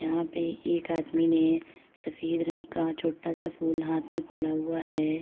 यहाँ पे एक आदमी ने सफेद रंग का छोटा सा फूल हाथ में पकड़ा हुआ है।